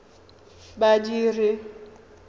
badiri